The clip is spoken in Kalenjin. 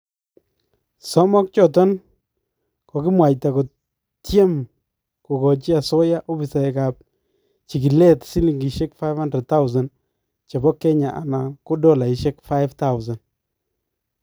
Somook choton kokikimwayta kotyeem kokachi asooya opisaekab chikileet silingisyeek 500,000 chebo Kenya anan ko dolaisyeek 5000.